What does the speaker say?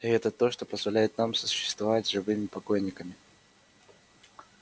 и это то что позволяет нам сосуществовать с живыми покойниками